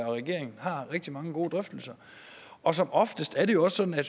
og regeringen har rigtig mange gode drøftelser og som oftest er det jo også sådan at